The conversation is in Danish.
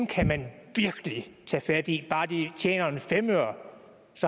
kan man virkelig tage fat i bare de tjener en femøre